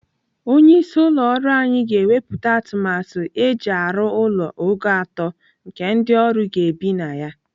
Onye isi ụlọ ọrụ anyị ga-ewepụta atụmatụ eji arụ ụlọ ogo atọ nke ndị ọrụ ga-ebi na ya.